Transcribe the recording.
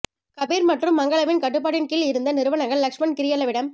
கபீர் மற்றும் மங்களவின் கட்டுப்பாட்டின் கீழ் இருந்த நிறுவனங்கள் லக்ஷ்மன் கிரியெல்லவிடம்